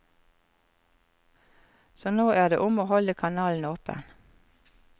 Så nå er det om å holde kanalen åpen.